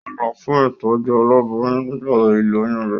Ó lọ fún ìtọ́jú aláboyún nígbà ìlóyún rẹ̀.